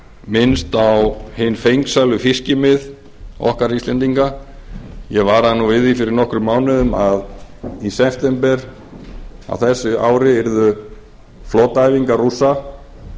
minnst á hin fengsælu fiskimið okkar íslendinga ég varaði nú við því fyrir nokkrum mánuðum að í september á þessu ári yrðu flotaæfingar rússa